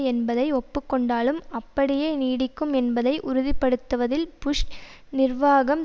என்பதை ஒப்புக்கொண்டாலும் அப்படியே நீடிக்கும் என்பதை உறுதி படுத்துவதில் புஷ் நிர்வாகம்